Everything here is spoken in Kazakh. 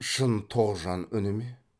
шын тоғжан үні ме